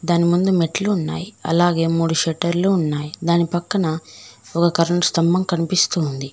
దాని ముందు మెట్లు ఉన్నాయి అలాగే మూడు షెటర్లు ఉన్నాయి దాని పక్కన ఒక కరెంట్ స్థంభం కనిపిస్తూ ఉంది.